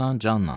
başla canla.